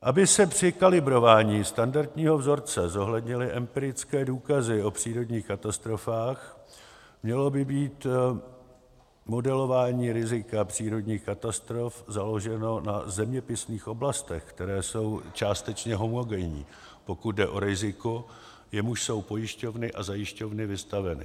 Aby se při kalibrování standardního vzorce zohlednily empirické důkazy o přírodních katastrofách, mělo by být modelování rizika přírodních katastrof založeno na zeměpisných oblastech, které jsou částečně homogenní, pokud jde o riziko, jemuž jsou pojišťovny a zajišťovny vystaveny.